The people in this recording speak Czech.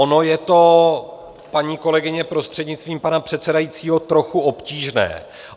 Ono je to, paní kolegyně, prostřednictvím pana předsedajícího, trochu obtížné.